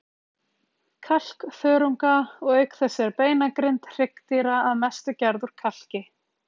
kalkþörunga, og auk þess er beinagrind hryggdýra að mestu gerð úr kalki.